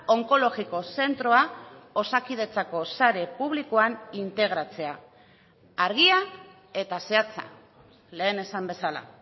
onkologiko zentroa osakidetzako sare publikoan integratzea argia eta zehatza lehen esan bezala